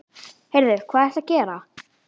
Heyrðu. hvað ertu að gera?